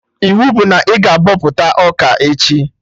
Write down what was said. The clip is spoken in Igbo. Iwu bụ na ị ga-abọpụta ọka echi!